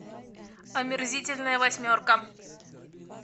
омерзительная восьмерка